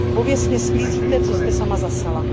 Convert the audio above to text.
Pověstně sklízíte, co jste sama zasela.